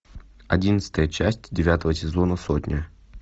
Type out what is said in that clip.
одиннадцатая часть девятого сезона сотня